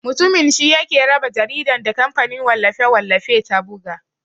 Mutumin shi yake raba jaridan da kamfanin wallafe-wallafe ta buga.